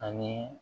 Ani